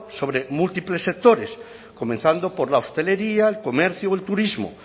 sobre múltiples sectores comenzando por la hostelería el comercio o el turismo